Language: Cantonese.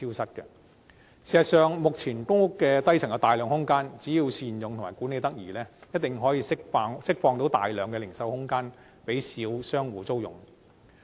事實上，只要善用目前公屋低層的大量空間及管理得宜，一定可以釋放大量零售空間，讓小商戶租用。